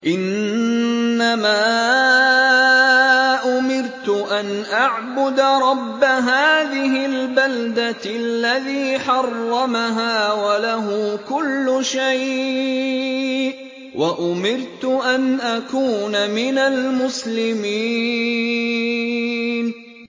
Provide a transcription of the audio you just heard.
إِنَّمَا أُمِرْتُ أَنْ أَعْبُدَ رَبَّ هَٰذِهِ الْبَلْدَةِ الَّذِي حَرَّمَهَا وَلَهُ كُلُّ شَيْءٍ ۖ وَأُمِرْتُ أَنْ أَكُونَ مِنَ الْمُسْلِمِينَ